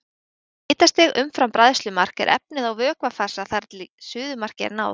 Við hitastig umfram bræðslumark er efnið á vökvafasa þar til suðumarki er náð.